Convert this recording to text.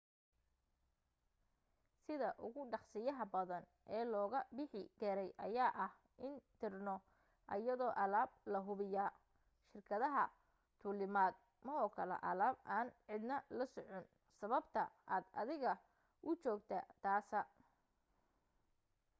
sida ugu dhaqasiyaha badan ee looga bixi karay ayaa ah in dirno ayadoo alaab lahubiya shirkadaha duulimad ma ogola alaab aan cidna la socon sababta aad adiga u joogta taasa